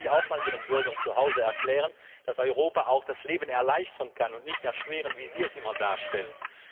Das sollten Sie auch mal Ihren Bürgern zuhause erklären, dass Europa auch das Leben erleichtern kann und nicht nur erschweren, wie Sie es immer darstellen.